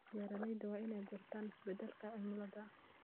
Beeraleydu waa inay bartaan isbeddelka cimilada.